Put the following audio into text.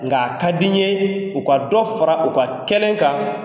Nga a ka di ye u ka dɔ fara u ka kɛlen kan.